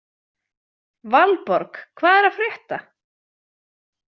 Valborg, hvað er að frétta?